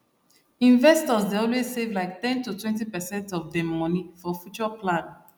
investors dey always save like ten totwentypercent of dem money for future plan